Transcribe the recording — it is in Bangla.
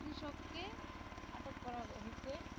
কৃষককে আটক করা হইছে